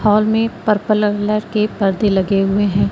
Hall में purple colour के पर्दे लगे हुए हैं।